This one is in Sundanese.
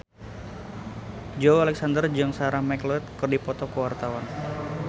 Joey Alexander jeung Sarah McLeod keur dipoto ku wartawan